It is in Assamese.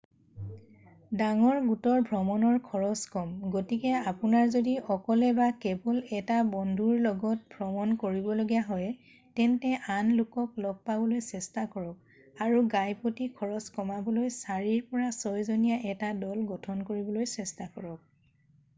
ডাঙৰ গোটৰ ভ্ৰমণৰ খৰছ কম গতিকে আপোনাৰ যদি অকলে বা কেৱল এটা বন্ধুৰ লগত ভ্ৰমণ কৰিবলগীয়া হয় তেন্তে আন লোকক লগ পাবলৈ চেষ্টা কৰক আৰু গাইপ্ৰতি খৰছ কমাবলৈ চাৰিৰ পৰা ছয়জনীয়া এটা দল গঠন কৰিবলৈ চেষ্টা কৰক।